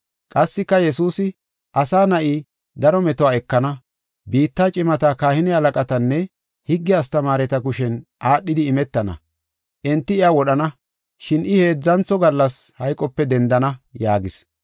Qassika Yesuusi, “Asa Na7i daro metuwa ekana. Biitta cimata, kahine halaqatanne higge astamaareta kushen aadhidi imetana. Enti iya wodhana, shin I heedzantho gallas hayqope dendana” yaagis.